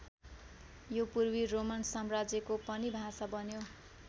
यो पूर्वी रोमन साम्राज्यको पनि भाषा बन्यो।